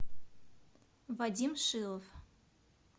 вадим шилов